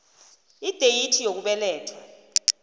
ideyithi yokubelethwa lang